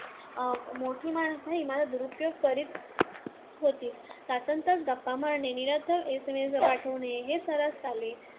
मोठी माणसेही माझा दुरुपयोग करीत होतीच. तासन्‌तास गप्पा मारणे, निरर्थक SMS पाठवणे हे सर्रास चाले.